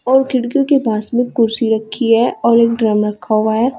और खिड़कियों के पास में कुर्सी रखी है और एक ड्रम रखा हुआ है।